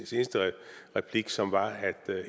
seneste replik som var at